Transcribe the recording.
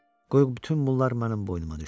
Qoy bütün bunlar mənim boynuma düşsün.